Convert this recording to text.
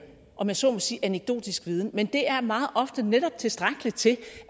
om jeg så må sige anekdotisk viden men det er meget ofte netop tilstrækkeligt til